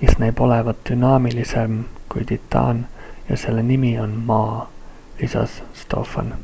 mis näib olevat dünaamilisem kui titan ja selle nimi on maa," lisas stofan.